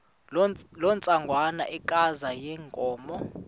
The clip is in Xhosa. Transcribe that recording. loo ntsengwanekazi yenkomo